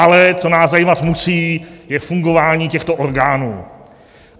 Ale co nás zajímat musí, je fungování těchto orgánů.